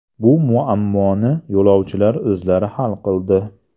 Bu muammoni yo‘lovchilar o‘zlari hal qildi.